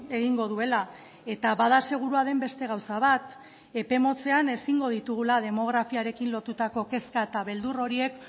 egingo duela eta bada segurua den beste gauza bat epe motzean ezingo ditugula demografiarekin lotutako kezka eta beldur horiek